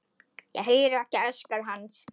Heyri ekki öskur hans.